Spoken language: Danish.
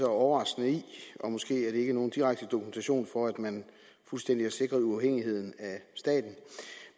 overraskende i og måske er det ikke nogen direkte dokumentation for at man fuldstændig er sikret uafhængighed af staten